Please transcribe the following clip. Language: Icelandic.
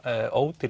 ódýr